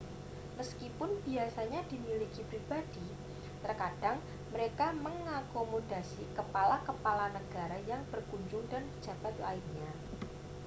meskipun biasanya dimiliki pribadi terkadang mereka mengakomodasi kepala-kepala negara yang berkunjung dan pejabat lainnya